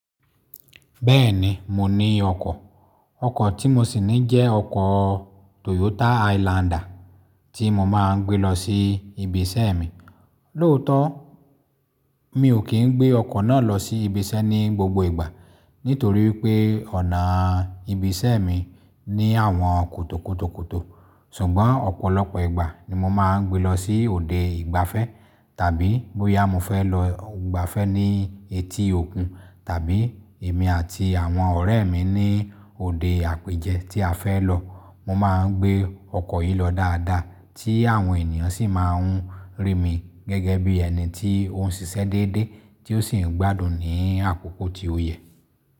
Bẹ́ẹ̀ni, mo ní ọkọ̀. O Ọkọ̀ tí mo sì ní jẹ́ ọkọ̀ Toyota Highlander tí mo máa ń gbé lọ sí ibi iṣẹ́ mi. Lóòótọ́, mi ò kí ń gbé ọkọ̀ náà lọ sí ibi iṣẹ́ ní gbogbo ìgbà nítorí pé ọ̀nà ibi iṣẹ́ mi ní àwọn kòtòkòtòkòtò. Ṣùgbọ́n ọ̀pọ̀lọpọ̀ ìgbà ni mo máa ń gbé lọ sí òde ìgbafẹ́ tàbí bóyá mo fẹ́ lọ gbafẹ́ ní etí òkun tàbí èmi àti àwọn ọ̀rẹ́ mi ní òde àpèjẹ tí a fẹ́ lọ, mo máa ń gbé ọkọ̀ yìí lọ dáadáa tí àwọn ènìyàn sì máa ń rí mi gẹ́gẹ́ bí ẹni tí ó ń ṣiṣẹ́ déédéé tí ó sì ń gbádùn ní àkókò tí ó yẹ.